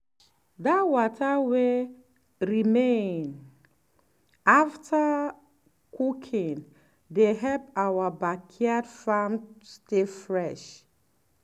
that water wey remain after cooking dey help our backyard farm stay fresh.